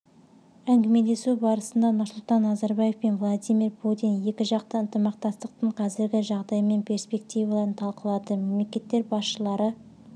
әңгімелесу барысында нұрсұлтан назарбаев пен владимир путин екіжақты ынтымақтастықтың қазіргі жағдайы мен перспективаларын талқылады мемлекеттер басшылары